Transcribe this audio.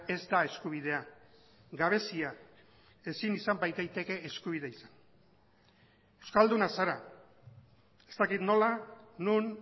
ez da eskubidea gabezia ezin izan badaiteke eskubide izan euskalduna zara ez dakit nola non